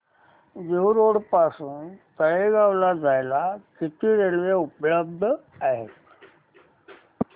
Dehu road पासून तळेगाव ला जायला किती रेल्वे उपलब्ध आहेत